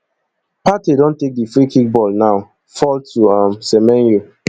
partey don take di freekick ball now fall to um semenyo